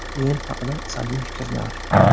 O‘yin haqida salbiy fikrlar?